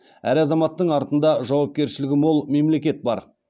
әр азаматтың артында жауапкершілігі мол мемлекет бар